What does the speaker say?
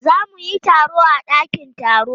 Za mu yi taro a dakin taro.